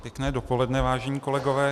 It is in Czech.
Pěkné dopoledne, vážení kolegové.